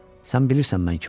Sən bilirsən mən kiməm?